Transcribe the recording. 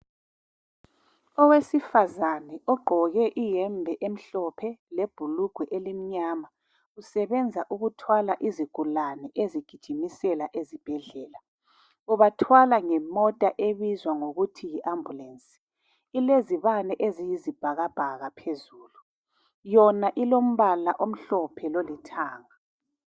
Owesifazana ogqoke iyembe emhlophe lebhulugwe elimnyama. Usebenza ukuthwala izigulana ezigijimisela ezibhendlela ubathwala ngemota ebizwa ngokuthi yiambulensi ilezibane eziyisibhakabhaka phezulu yona ilombala omhlophe lolithanga.